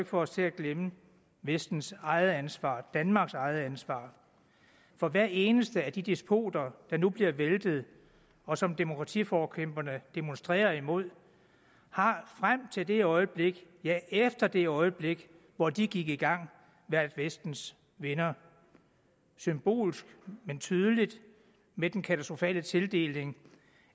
få os til at glemme vestens eget ansvar danmarks eget ansvar for hver eneste af de despoter der nu bliver væltet og som demokratiforkæmperne demonstrerer imod har frem til det øjeblik ja efter det øjeblik hvor de gik i gang været vestens venner symbolsk men tydeligt med den katastrofale tildeling